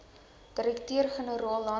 direkteur generaal landbou